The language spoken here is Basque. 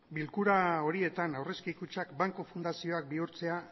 bilkura horietan aurrezki kutxak banku fundazioak bihurtzea